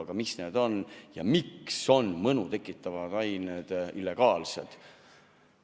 Aga mis need on ja miks on mõnu tekitavad ained illegaalsed?